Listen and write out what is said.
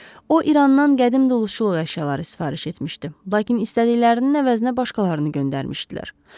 O İrandan qədim dulusçuluq əşyaları sifariş etmişdi, lakin istədiklərinin əvəzinə başqalarını göndərmişdilər.